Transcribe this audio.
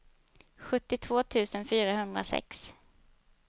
sjuttiotvå tusen fyrahundrasex